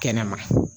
Kɛnɛma